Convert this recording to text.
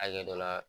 Hakɛ dɔ la